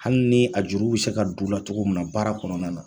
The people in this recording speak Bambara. Hali ni a juru bɛ se ka duu la cogo mun na baara kɔnɔna na.